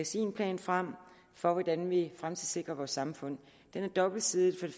sin plan frem for hvordan vi fremtidssikrer vores samfund og den er dobbeltsidet det